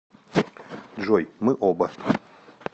джой мы оба